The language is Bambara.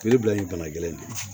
U bɛ bila yen bana gɛlɛn de